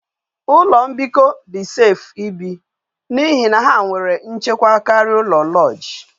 Ulo mbiko di safe ibi, na ihe na ha nwere nchekwa karia ulo lodge